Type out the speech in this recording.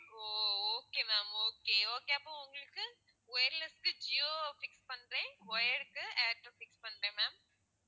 ஓ ஓ okay ma'am okay okay அப்போ உங்களுக்கு wireless க்கு ஜியோவ fix பண்றேன் wire க்கு ஏர்டெல் fix பண்றேன் ma'am